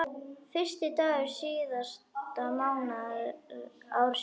Fyrsti dagur síðasta mánaðar ársins.